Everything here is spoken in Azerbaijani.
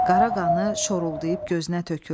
Qara qanı şoruldayıb gözünə töküldü.